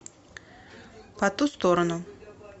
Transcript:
по ту сторону